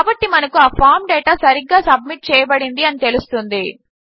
కాబట్టి మనకు ఆ ఫామ్ డేటా సరిగ్గా సబ్మిట్ చేయబడింది అని తెలుస్తుంది